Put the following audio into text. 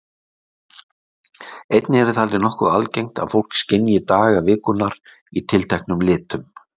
Einnig er talið nokkuð algengt að fólk skynji daga vikunnar í tilteknum litum.